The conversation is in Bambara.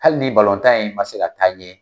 Hali ni tan in man se ka taa ɲɛ